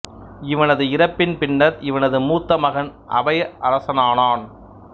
இவனது இறப்பின் பின்னர் இவனது மூத்த மகன் அபய அரசனானான்